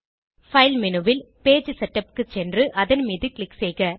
file menu ல் page setup க்கு சென்று அதன் மீது க்ளிக் செய்க